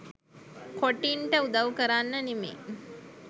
කොටින්ට උදව් කරන්න නෙමෙයි